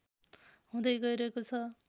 हुँदै गइरहेको छ